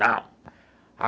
Não.